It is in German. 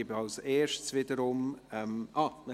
Ich gebe zuerst wiederum ...